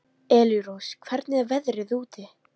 Elírós, hvernig er veðrið úti?